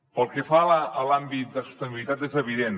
pel que fa a l’àmbit de sostenibilitat és evident